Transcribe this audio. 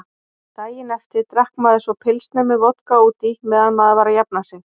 Daginn eftir drakk maður svo pilsner með vodka útí meðan maður var að jafna sig.